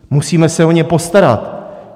Musíme se o ně postarat.